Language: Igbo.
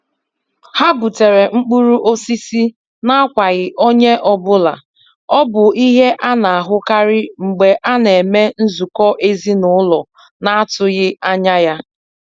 Ha butere mkpụrụ osisi n'akwaghị onye ọ bụla, ọ bụ ihe a na-ahụkarị mgbe a na-eme nzukọ ezinaụlọ na-atụghị anya ya.